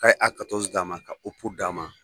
K'a ye a d'a ma ka d'a ma.